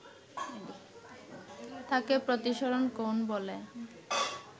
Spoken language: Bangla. তাকে প্রতিসরণ কোণ বলে